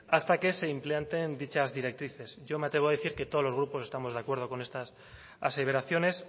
hasta que se implanten dichas directrices yo me atrevo a decir que todos los grupos estamos de acuerdo con estas aseveraciones